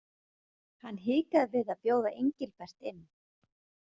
Hann hikaði við að bjóða Engilbert inn.